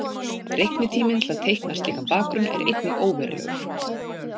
Reiknitíminn til að teikna slíkan bakgrunn er einnig óverulegur.